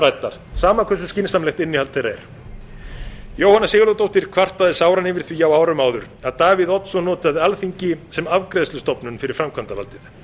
ræddar sama hversu skynsamlegt innihald þeirra er jóhanna sigurðardóttir kvartaði sáran yfir því á árum áður að davíð oddsson notaði alþingi sem afgreiðslustofnun fyrir framkvæmdarvaldið